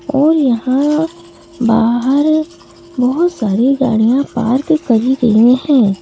और यहाँ बाहर बहुत सारी गाड़ियाँ पार्क करी गई हैं ।